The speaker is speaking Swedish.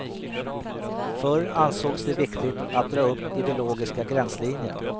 Förr ansågs det viktigt att dra upp ideologiska gränslinjer.